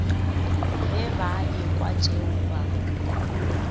ge ba ekwa tšeo ba